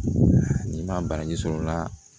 N'i ma bagaji sɔrɔ o la